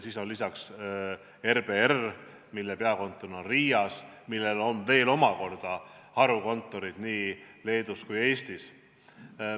Nendele lisaks on RBR, mille peakontor asub Riias, ja sellel on omakorda harukontorid nii Leedus kui ka Eestis.